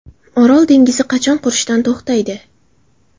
Orol dengizi qachon qurishdan to‘xtaydi?.